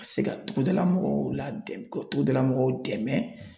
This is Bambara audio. Ka se ka togodala mɔgɔw la ka togoda mɔgɔw dɛmɛ